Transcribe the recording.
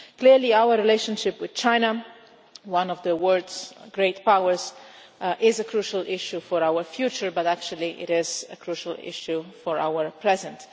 Clearly our relationship with China, one of the world's great powers, is a crucial issue for our future but actually it is a crucial issue for our present.